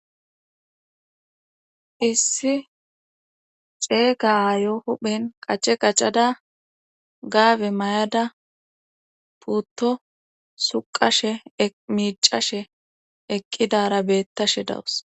issi ceeyga aayo huphen qace qacada gaabe may7ada putto suqashe miicashe eqqidara beettashe dawus